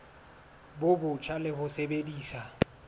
bo botjha le ho sebedisa